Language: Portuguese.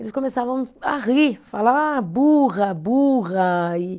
Eles começavam a rir, falar ah burra, burra. E